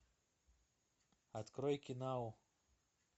открой кинау